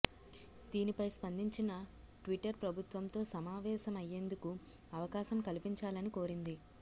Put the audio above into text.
దీనిపై స్పందించిన ట్విటర్ ప్రభుత్వంతో సమావేశమ య్యేందుకు అవకాశం కల్పించాలని కోరింది